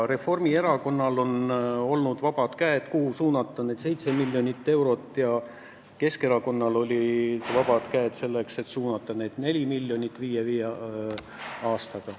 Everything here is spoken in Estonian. Reformierakonnal on olnud vabad käed, kuhu need 7 miljonit eurot suunata, ja Keskerakonnal on olnud vabad käed, kuhu need 4 miljonit viie aastaga suunata.